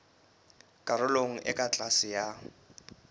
karolong e ka tlase ya